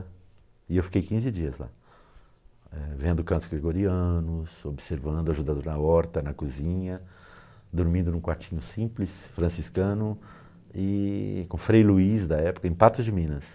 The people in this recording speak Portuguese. E eu fiquei quinze dias lá, vendo cantos gregorianos, observando, ajudando na horta, na cozinha, dormindo em um quartinho simples, franciscano, e, com o Frei Luiz da época, em Patos de Minas.